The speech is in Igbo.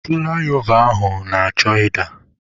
Fụlaịova ahụ na-achọ ịda.